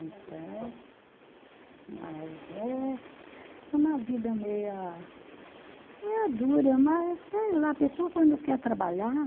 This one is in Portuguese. Então, mas é, é uma vida meia, meia dura, mas sei lá, a pessoa quando quer trabalhar,